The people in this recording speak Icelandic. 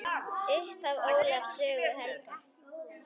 Upphaf Ólafs sögu helga.